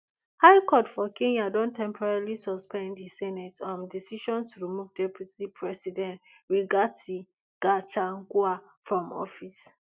high court for kenya don temporarily suspend di senate um decision to remove deputy president rigathi gachagua from office